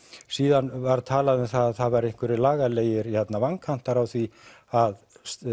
síðan var talað um að það væru einhverjir lagalegir vankantar á því að